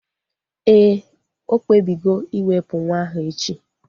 Éè, okpebigo iwepu nwa ahu echi